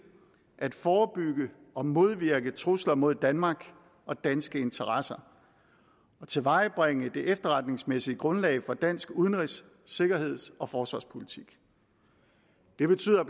at forebygge og modvirke trusler mod danmark og danske interesser og tilvejebringe det efterretningsmæssige grundlag for dansk udenrigs sikkerheds og forsvarspolitik det betyder